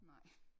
Nej